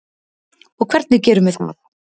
Og hvernig gerum við það?